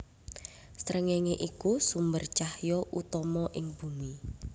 Srengéngé iku sumber cahya utama ing Bumi